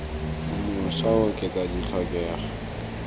o mošwa o oketsa tlhokego